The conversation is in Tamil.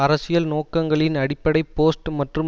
அரசியல் நோக்கங்களின் அடிப்படை போஸ்ட் மற்றும்